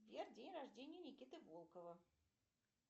сбер день рождения никиты волкова